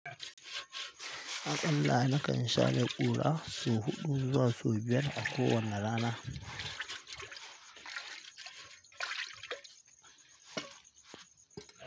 Allah na kan share ƙura sau huɗu zuwa sau biyar a kowanne rana.